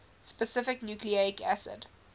specific nucleic acid